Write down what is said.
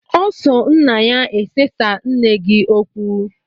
O so nna ya esesa nne gi okwu